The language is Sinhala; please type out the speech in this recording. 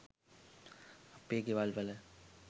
අපේ ගෙවල්වල